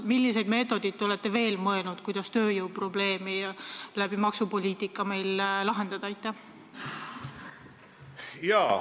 Milliste meetodite peale te veel mõelnud olete, et meie tööjõuprobleemi maksupoliitika abil lahendada?